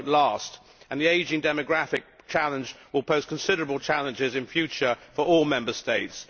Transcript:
it will not last and the ageing demographic challenge will pose considerable challenges in future for all Member States.